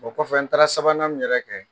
O kɔfɛ n taara sabanan min yɛrɛ kɛ.